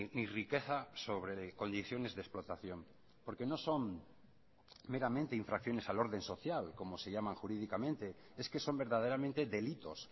ni riqueza sobre condiciones de explotación porque no son meramente infracciones al orden social como se llama jurídicamente es que son verdaderamente delitos